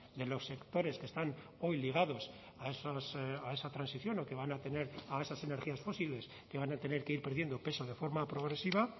de los sectores que están hoy ligados a esa transición o que van a tener a esas energías fósiles que van a tener que ir perdiendo peso de forma progresiva